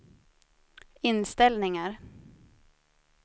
inställningar